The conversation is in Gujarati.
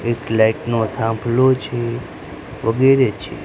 એક લાઇટ નો થાંભલો છે વગેરે છે.